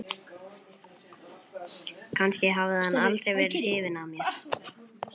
Kannski hafði hann aldrei verið hrifinn af mér.